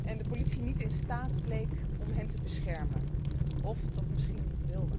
en de politie niet in staat bleek om hen te beschermen, of dat misschien niet wilde.